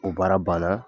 O baara banna